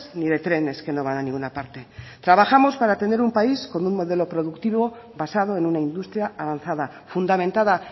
ni de trenes que no van a ninguna parte trabajamos para tener un país con un modelo productivo basado en una industria avanzada fundamentada